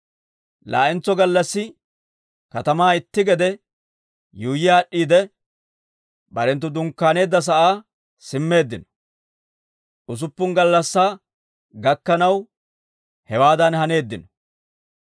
Laa"entso gallassi katamaa itti gede yuuyyi aad'd'iide, barenttu dunkkaaneedda sa'aa simmeeddino. Usuppun gallassaa gakkanaw hewaadan haneeddino.